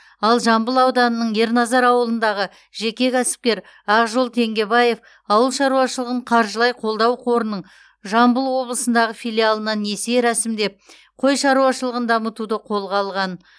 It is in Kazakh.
ал жамбыл ауданының ерназар ауылындағы жеке кәсіпкер ақжол теңгебаев ауыл шаруашылығын қаржылай қолдау қорының жамбыл облысындағы филиалынан несие рәсімдеп қой шаруашылығын дамытуды қолға алған